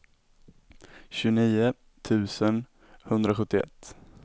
tjugonio tusen etthundrasjuttioett